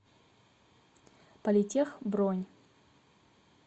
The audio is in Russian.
политех бронь